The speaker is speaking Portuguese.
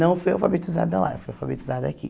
Não fui alfabetizada lá, fui alfabetizada aqui.